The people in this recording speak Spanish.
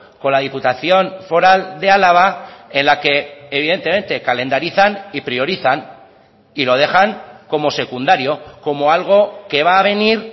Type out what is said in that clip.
con la diputación foral de álava en la que evidentemente calendarizan y priorizan y lo dejan como secundario como algo que va a venir